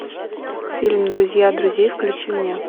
фильм друзья друзей включи мне